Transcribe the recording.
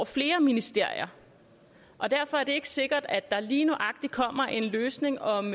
flere ministerier og derfor er det ikke sikkert at der lige nøjagtig kommer en løsning om